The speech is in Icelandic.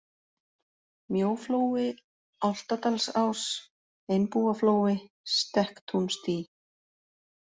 Mjóflói, Álftadalsás, Einbúaflói, Stekktúnsdý